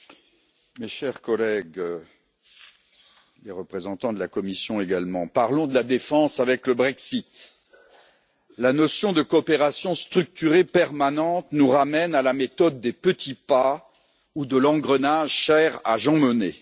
Monsieur le Président, mes chers collègues, les représentants de la Commission également, parlons de la défense avec le Brexit. La notion de coopération structurée permanente nous ramène à la méthode des petits pas, ou de l'engrenage cher à Jean Monnet.